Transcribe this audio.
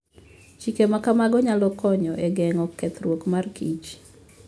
Chike ma kamago nyalo konyo e geng'o kethruok mar kich.